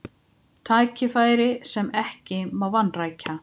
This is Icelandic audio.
Tækifæri sem ekki má vanrækja